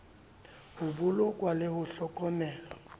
ho bolokwa le ho hlokomelwa